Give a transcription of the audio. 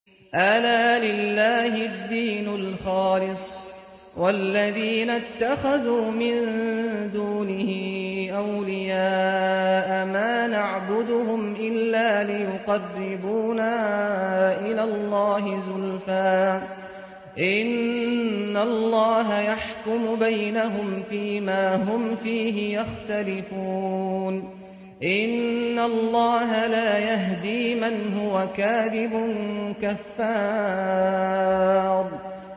أَلَا لِلَّهِ الدِّينُ الْخَالِصُ ۚ وَالَّذِينَ اتَّخَذُوا مِن دُونِهِ أَوْلِيَاءَ مَا نَعْبُدُهُمْ إِلَّا لِيُقَرِّبُونَا إِلَى اللَّهِ زُلْفَىٰ إِنَّ اللَّهَ يَحْكُمُ بَيْنَهُمْ فِي مَا هُمْ فِيهِ يَخْتَلِفُونَ ۗ إِنَّ اللَّهَ لَا يَهْدِي مَنْ هُوَ كَاذِبٌ كَفَّارٌ